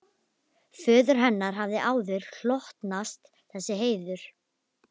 Föður hennar hafði áður hlotnast þessi heiður.